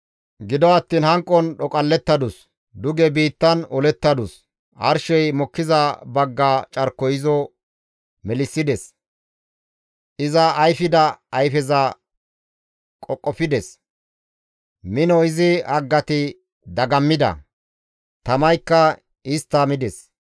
Gido attiin hanqon dhoqallettadus; duge biittan olettadus; arshey mokkiza bagga carkoy izo melissides; iza ayfida ayfeza qoqofides; mino izi haggati dagammida; tamaykka istta mides.